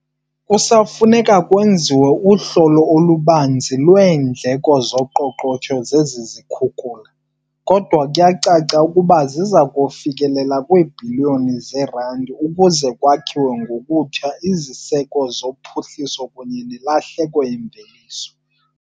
"Kusafuneka kwenziwe uhlolo olubanzi lweendleko zoqoqosho zezi zikhukula, kodwa kuyacaca ukuba ziza kufikelela kwiibhiliyoni zeerandi ukuze kwakhiwe ngokutsha iziseko zophuhliso kunye nelahleko yemveliso."